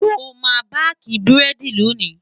sọ má baki burẹdi lóni?